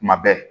Tuma bɛɛ